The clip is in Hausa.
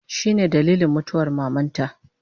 Shine dalilin mutuwar mamanta